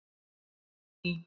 Fanný